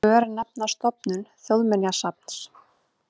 Örnefnastofnun Þjóðminjasafns.